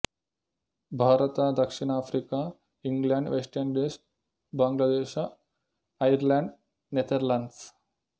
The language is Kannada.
ಭಾರತ ಧಕ್ಷಿನ Africa England West Indies Bangladesh Ireland Netherlands